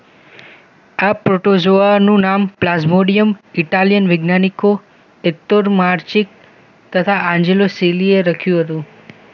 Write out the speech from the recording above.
આ પ્રોટોઝોઆનું નામ પ્લાઝ્મોડિયમ ઇટાલિયન વૈજ્ઞાનિકો એતકતોર માર્ચિકત તથા અંજલોસીલીએ રખ્યું હતું